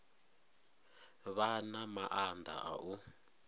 vha na maanḓa a u